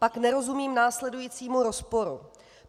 Pak nerozumím následujícímu rozporu.